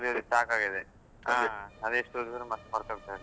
ಮೂರು ದಿವಸ ಸಾಕಾಗಿದೆ. ಹಾ, ಅದೆಷ್ಟು ಓದಿದ್ರು ಮತ್ತ್ ಮರ್ತೊಗ್ತ ಇರ್ತದೆ